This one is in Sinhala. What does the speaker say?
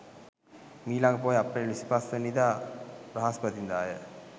මීලඟ පෝය අප්‍රේල් 25 වැනි දා බ්‍රහස්පතින්දාය.